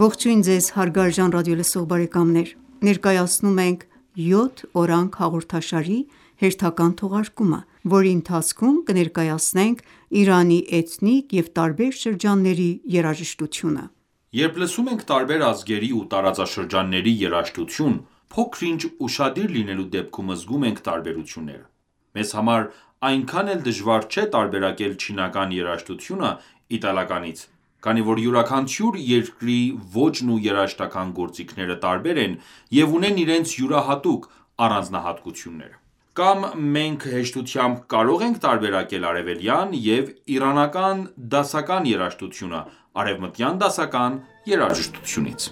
Ողջույն Ձեզ հարգարժան ռադիոլսող բարեկամներ: Ներկայացնում ենք «Յոթ օրանգ» հաղորդաշարի հերթական թողարկումը, որի ընթացքում կներկայացնենք Իրանի էթնիկ և տարբեր շրջանների երաժշտությունը: Երբ լսում ենք տարբեր ազգերի ու տարածաշրջանների երաժշտություն, փոքր-ինչ ուշադիր լինելու դեպքում զգում ենք տարբերությունները։ Մեզ համար այնքան էլ դժվար չէ տարբերակել չինական երաժշտությունը իտալականից, քանի որ յուրաքանչյուր երկրի ոճն ու երաժշտական գործիքները տարբեր են և ունեն իրենց յուրահատուկ առանձնահատկությունները: Կամ մենք հեշտությամբ կարող ենք տարբերակել արևելյան և իրանական դասական երաժշտությունը արևմտյան դասական երաժշտությունից: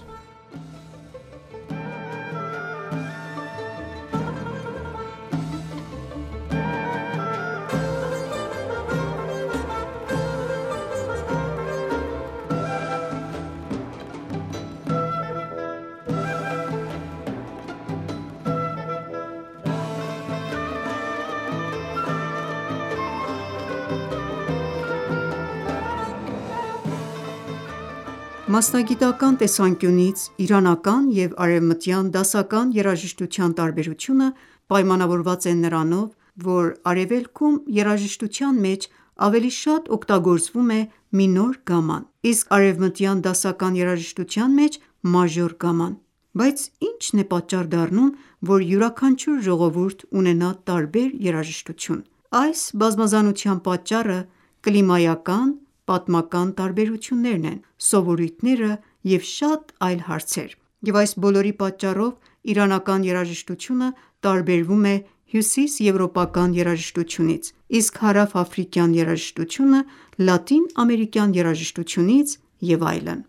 Մասնագիտական տեսանկյունից իրանական և արևմտյան դասական երաժշտության տարբերությունը պայմանավորված է նրանով, որ Արևելքում երաժշտության մեջ ավելի շատ օգտագործվում է մինոր գամման, իսկ արևմտյան դասական երաժշտության մեջ՝ մաժոր գամման: Բայց ի՞նչն է պատաճառ դառնում, որ յուրաքանչյուր ժողովուրդ ունենա տարբեր երաժշտություն: Այս բազմազանության պատճառը կլիմայական, պատմական տարբերություններն են, սովորույթները և շատ այլ հարցեր: Եվ այս բոլորի պատճառով, իրանական երաժշտությունը տարբերվում է հյուսիսեվրոպական երաժշտությունից, իսկ հարավաֆրիկյան երաժշտությունը լատինաամերիկյան երաժշտությունից և այլն: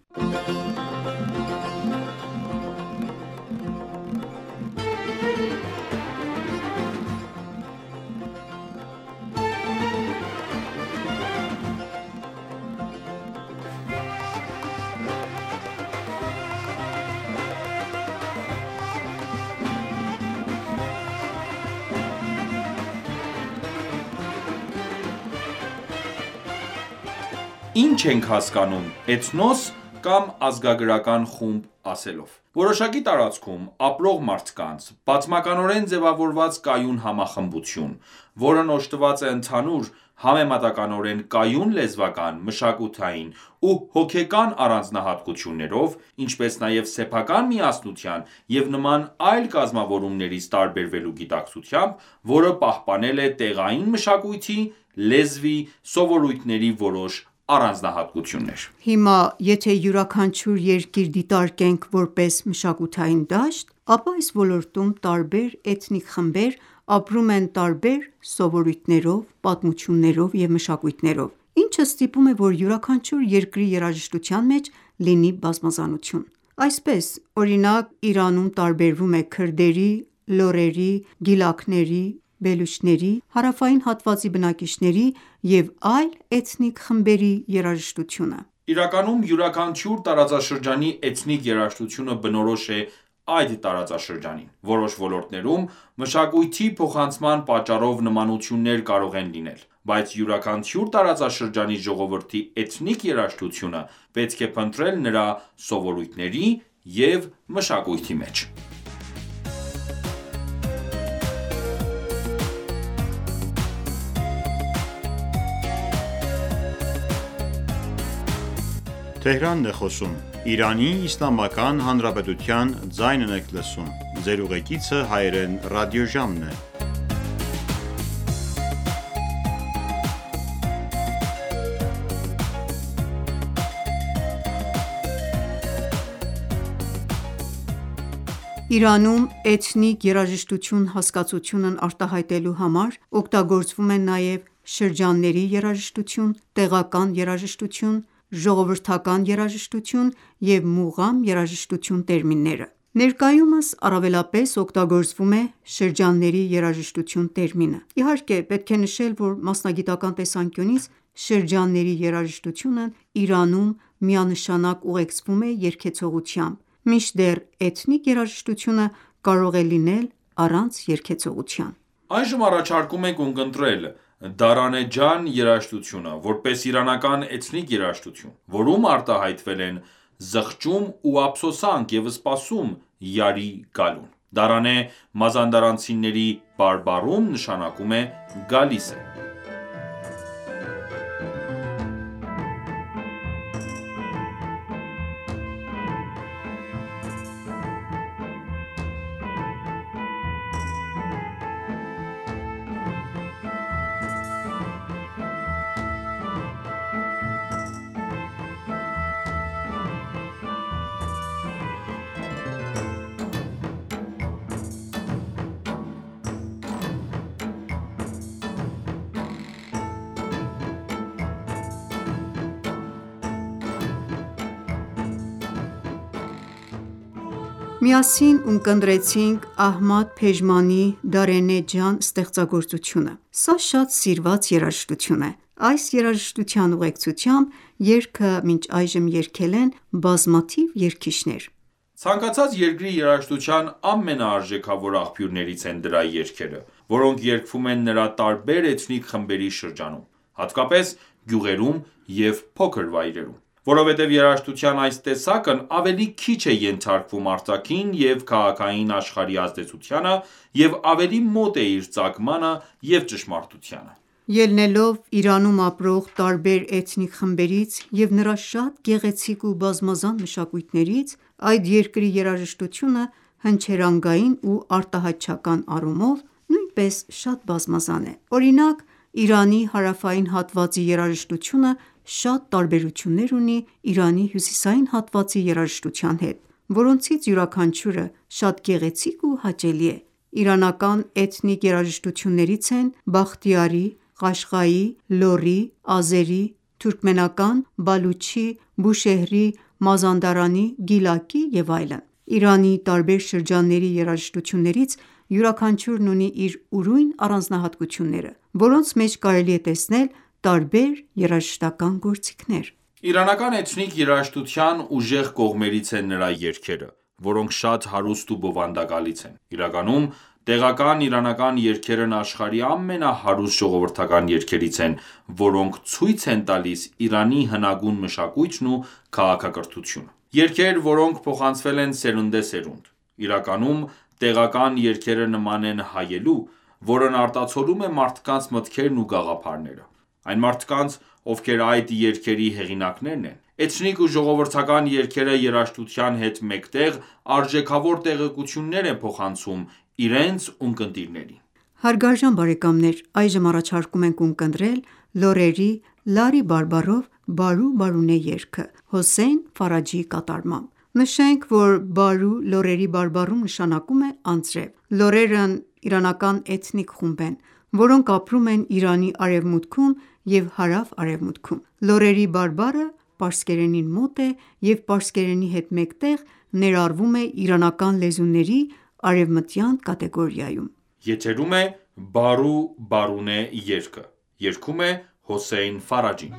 Ի՞նչ ենք հասկանում «Էթնոս» կամ «ազգագրական խումբ» ասելով։ Որոշակի տարածքում ապրող մարդկանց՝ պատմականորեն ձևավորված կայուն համախմբություն, որն օժտված է ընդհանուր, համեմատականորեն կայուն լեզվական, մշակութային ու հոգեկան առանձնահատկություններով, ինչպես նաև սեփական միասնության և նման այլ կազմավորումներից տարբերվելու գիտակցությամբ, որը պահպանել է տեղային մշակույթի, լեզվի, սովորույթների որոշ առանձնահատկություններ։ Հիմա, եթե յուրաքանչյուր երկիր դիտարկենք որպես մշակութային դաշտ, ապա այս ոլորտում տարբեր էթնիկ խմբեր ապրում են տարբեր սովորույթներով, պատմություններով և մշակույթներով, ինչը ստիպում է, որ յուրաքանչյուր երկրի երաժշտության մեջ լինի բազմազանություն։ Այսպես, օրինակ, Իրանում տարբերվում է քրդերի, լոռերի, գիլաքների, բելուչների, հարավային հատվածի բնակիչների և այլ էթնիկ խմբերի երաժշտությունը։ Իրականում յուրաքանչյուր տարածաշրջանի էթնիկ երաժշտությունը բնորոշ է այդ տարածաշրջանին։ Որոշ ոլորտներում մշակույթի փոխանցման պատճառով նմանություններ կարող են լինել, բայց յուրաքանչյուր տարածաշրջանի ժողովրդի էթնիկ երաժշտությունը պետք է փնտրել նրա սովորույթների և մշակույթի մեջ: Իրանում էթնիկ երաժշտություն հասկացությունն արտահայտելու համար օգտագործվում են նաև «շրջանների երաժշտություն», «տեղական երաժշտություն», «ժողովրդական երաժշտություն» և «մուղամ երաժշտություն» տերմինները: Ներկայումս առավելապես օգտագործվում է «շրջանների երաժշտություն» տերմինը։ Իհարկե, պետք է նշել, որ մասնագիտական տեսանկյունից շրջանների երաժշտությունն Իրանում միանշանակ ուղեկցվում է երգեցողությամբ, մինչդեռ էթնիկ երաժշտությունը կարող է լինել առանց երգեցողության։ Այժմ առաջարկում ենք ունկնդրել «Դարենեհ ջան» երաժշտությունը, որպես իրանական էթնիկ երաժշտություն, որում արտահայտվել են զղջում ու ափսոսանք և սպասում՝ յարի գալուն: «Դարենեհ» մազանդարանցիների բարբառներում նշանակում է «գալիս է»։ Միասին ունկնդրեցինք Ահմադ Փեժմանի «Դարենեհ ջան» ստեղծագործությունը։ Սա շատ սիրված երաժշտություն է: Այս երաժշտության ուղեկցությամբ երգը մինչ այժմ երգել են բազմաթիվ երգիչներ։ Ցանկացած երկրի երաժշտության ամենաարժեքավոր աղբյուրներից են դրա երգերը, որոնք երգվում են նրա տարբեր էթնիկ խմբերի շրջանում, հատկապես գյուղերում և փոքր վայրերում: Որովհետև երաժշտության այս տեսակն ավելի քիչ է ենթարկվում արտաքին և քաղաքային աշխարհի ազդեցությանը և ավելի մոտ է իր ծագմանը և ճշմարտությանը: Ելնելով Իրանում ապրող տարբեր էթնիկ խմբերից և նրա շատ գեղեցիկ ու բազմազան մշակույթներից, այդ երկրի երաժշտությունը հնչերանգային ու արտահայտչական առումով նույնպես շատ բազմազան է: Օրինակ, Իրանի հարավային հատվածի երաժշտությունը շատ տարբերություններ ունի Իրանի հյուսիսային հատվածի երաժշտության հետ, որոնցից յուրաքանչյուրը շատ գեղեցիկ ու հաճելի է: Իրանական էթնիկ երաժշտություններից են՝ բախտիարի, ղաշղայի, լոռի, ազերի, թուրքմենական, բալուչի, բուշեհրի, մազանդարանի, գիլակի և այլն։ Իրանի տարբեր շրջանների երաժշտություններից յուրաքանչյուրն ունի իր ուրույն առանձնահատկությունները, որոնց մեջ կարելի է տեսնել տարբեր երաժշտական գործիքներ։ Իրանական էթնիկ երաժշտության ուժեղ կողմերից են նրա երգերը, որոնք շատ հարուստ ու բովանդակալից են։ Իրականում տեղական իրանական երգերն աշխարհի ամենահարուստ ժողովրդական երգերից են, որոնք ցույց են տալիս Իրանի հնագույն մշակույթն ու քաղաքակրթությունը։ Երգեր, որոնք փոխանցվել են սերնդեսերունդ: Իրականում տեղական երգերը նման են հայելու, որն արտացոլում է մարդկանց մտքերն ու գաղափարները։ Այն մարդկանց, ովքեր այդ երգերի հեղինակներն են։ Էթնիկ ու ժողովրդական երգերը երաժշտության հետ մեկտեղ արժեքավոր տեղեկություններ են փոխանցում իրենց ունկնդիրներին: Հարգարժան բարեկամներ այժմ առաջարկում ենք ունկնդրել լոռերի լառի բարբառով «Բարու Բարունե» երգը՝ Հոսեյն Ֆարաջիի կատարմամբ։ Նշենք, որ բարու լոռերի բարբառում նշանակում է անձրև: Լոռերն իրանական էթնիկ խումբ են, որոնք ապրում են Իրանի արևմուտքում և հարավ-արևմուտքում: Լոռերի բարբառը պարսկերենին մոտ է և պարսկերենի հետ մեկտեղ ներառվում է իրանական լեզուների արևմտյան կատեգորիայում: Եթերում է Բարու Բարունե երգը: Երգում է Հոսեյն Ֆարաջին: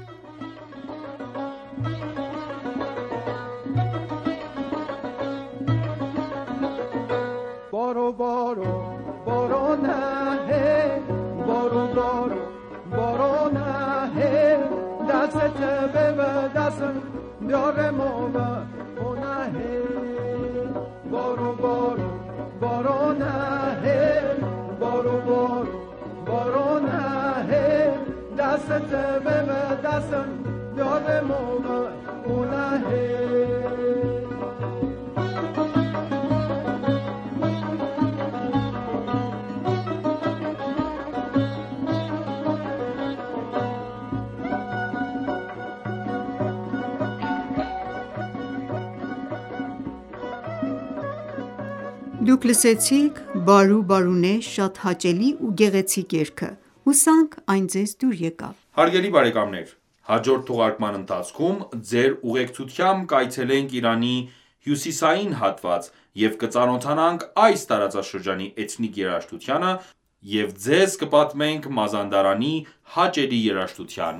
Դուք լսեցիք «Բարու Բարունե» շատ հաճելի ու գեղեցիկ երգը: Հուսանք այն ձեզ դուր եկավ: Հարգելի բարեկամներ հաջորդ թողարկման ընթացքում Ձեր ուղեկցությամբ կայցելենք Իրանի հյուսիսային հատված և կծանոթանանք այս տարածաշրջանի էթնիկ երաժշտությանը և ձեր կպատմենք Մազանդարանի հաճելի երաժշտության